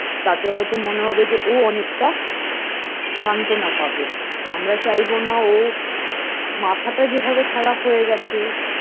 তাতে হয়তো মনে হবে যে ও অনেকটা সান্ত্বনা পাবে আমরা চাইবো না ও মাথাটা যেভাবে খারাপ হয়ে গেছে